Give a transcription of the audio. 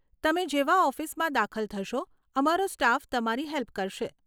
તમે જેવા ઓફિસમાં દાખલ થશો અમારો સ્ટાફ તમારી હેલ્પ કરશે.